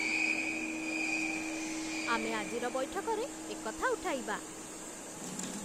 ଆମେ ଆଜିର ବୈଠକରେ ଏକଥା ଉଠାଇବା